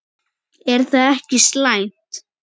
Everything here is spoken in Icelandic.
Er það ekki slæmt?